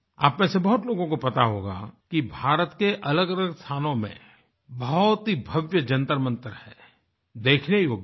आप में से बहुत लोगों को पता होगा कि भारत के अलगअलग स्थानों में बहुत ही भव्य जंतरमंतर हैं देखने योग्य हैं